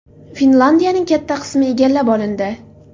Finlyandiyaning katta qismi egallab olindi.